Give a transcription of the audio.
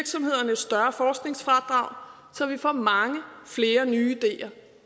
større forskningsfradrag så vi får mange flere nye ideer